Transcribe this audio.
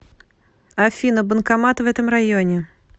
афина банкомат в этом районе